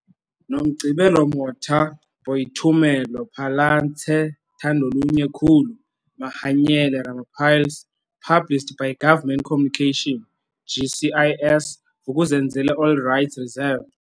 Nomgcibelo Motha | Boitumelo PhalatseThandolunye Khulu | Mahanyele Ramapalais published by Government Communications, GCIS, Vuk'uzenzeleAll rights reserved.